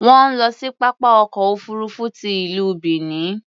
Wọ́n ń lọ sí pápá ọkọ̀ òfuurufú ti ìlú Benin.